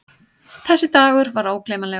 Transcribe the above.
Þessi dagur var ógleymanlegur.